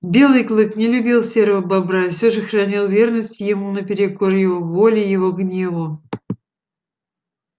белый клык не любил серого бобра и все же хранил верность ему наперекор его воле его гневу